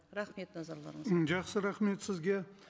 рахмет назарларыңызға м жақсы рахмет сізге